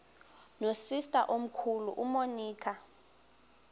nosister omkhulu umonica